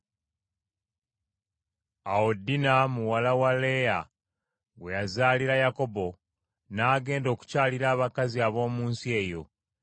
Awo Dina muwala wa Leeya gwe yazaalira Yakobo, n’agenda okukyalira abakazi ab’omu nsi eyo.